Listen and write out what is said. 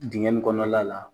Dingɛ nin kɔnɔna la .